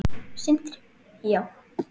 Sindri: Já?